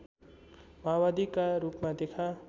माओवादीका रूपमा देखा